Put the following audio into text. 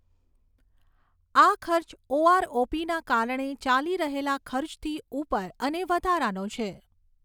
આ ખર્ચ ઓઆરઓપીના કારણે ચાલી રહેલા ખર્ચથી ઉપર અને વધારાનો છે.